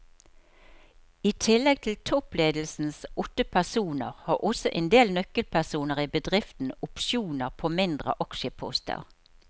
I tillegg til toppledelsens åtte personer har også en del nøkkelpersoner i bedriften opsjoner på mindre aksjeposter.